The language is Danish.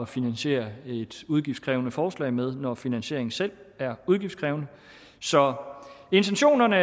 finansiere et udgiftskrævende forslag med når finansieringen selv er udgiftskrævende så intentionerne